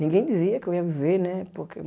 Ninguém dizia que eu ia viver, né? Porque